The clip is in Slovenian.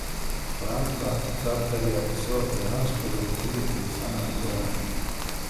Franka Carterja so dejansko zalotili pri samem dejanju.